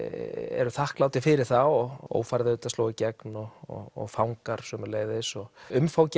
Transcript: eru þakklátir fyrir það og ófærð sló í gegn og fangar sömuleiðis umfangið